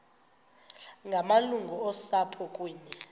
ngamalungu osapho kunye